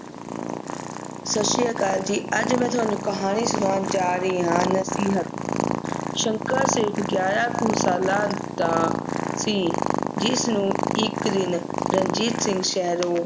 ਸਤਿ ਸ਼੍ਰੀ ਅਕਾਲ ਜੀ ਅੱਜ ਮੈਂ ਤੁਹਾਨੂੰ ਕਹਾਣੀ ਸੁਣਾਉਣ ਜਾ ਰਹੀ ਆ ਨਸੀਹਤ ਸ਼ੰਕਰ ਸਿਰਫ ਗਿਆਰਾਂ ਕੁ ਸਾਲਾਂ ਦਾ ਸੀ ਜਿਸ ਨੂੰ ਇਕ ਦਿਨ ਰਣਜੀਤ ਸਿੰਘ ਸ਼ਹਿਰੋਂ